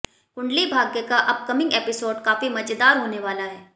कुंडली भाग्य का upcoming episode काफी मजेदार होने वाला है